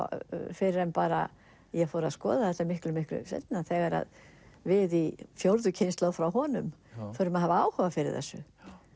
fyrr en bara ég fór að skoða þetta miklu miklu seinna þegar við í fjórðu kynslóð frá honum förum að hafa áhuga á þessu